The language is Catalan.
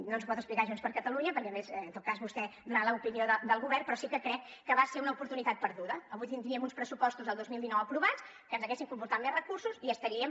no ens ho pot explicar junts per catalunya perquè a més en tot cas vostè donarà l’opinió del govern però sí que crec que va ser una oportunitat perduda avui tindríem uns pressupostos del dos mil dinou aprovats que ens haguessin comportat més recursos i estaríem